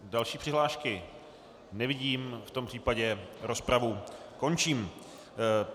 Další přihlášky nevidím, v tom případě rozpravu končím.